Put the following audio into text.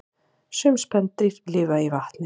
Sum spendýr lifa í vatni